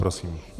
Prosím.